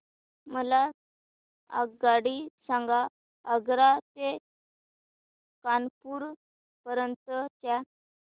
मला आगगाडी सांगा आग्रा ते कानपुर पर्यंत च्या